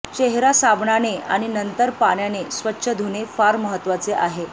चेहरा साबणाने आणि नंतर पाण्याने स्वच्छ धुणे फार महत्त्वाचे आहे